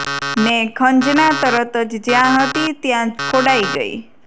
ને ખંજના તરત જ જ્યાં હતી ત્યાં ખોડાઈ ગઈ